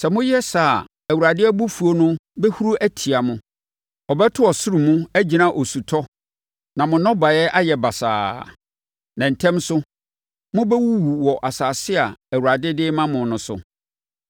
Sɛ moyɛ saa a, Awurade Abufuo no bɛhuru atia mo. Ɔbɛto ɔsoro mu, agyina osutɔ, na mo nnɔbaetwa ayɛ basaa. Na ntɛm so, mobɛwuwu wɔ asase a Awurade de rema mo no so.